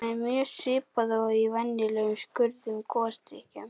Það er mjög svipað og í venjulegum sykruðum gosdrykkjum.